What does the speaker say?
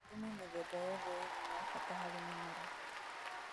Thumu mĩthemba yothe ĩrĩ nĩ ya bata harĩ mĩmera